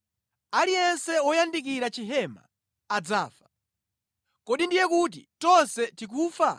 Aliyense woyandikira chihema adzafa. Kodi ndiye kuti tonse tikufa?”